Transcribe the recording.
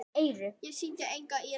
Ég sýndi enga iðrun.